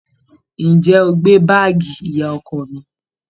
Ǹjẹ́ o gbé báàgì ìyá ọkọ mi?